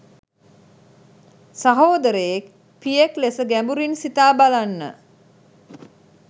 සහෝදරයෙක් පියෙක් ලෙස ගැඹුරින් සිතා බලන්න.